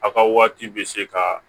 A ka waati bɛ se ka